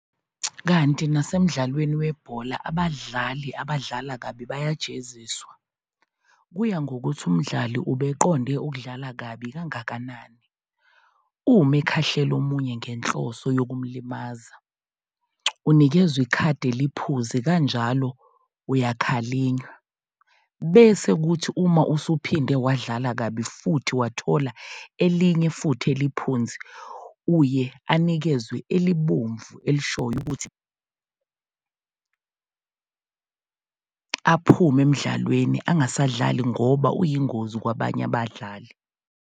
Kanti nasemdlalweni webhola abadlali abadlala kabi bayajeziswa, kuya ngokuthi umdlali obeqonde ukudlala kabi kangakanani, uma ekhahlela omunye ngenhloso yokumlimaza, unikezwa ikhadi eliphuzi kanjalo uyakhalinywa, bese kuthi uma esephinde wadlala kabi futhi wathola elinye futhi eliphuzi, uye anikezwe elibomvu elishoyo ukuthi aphume emdlalweni angasadlali ngoba uyingozi kwabanye abadlali.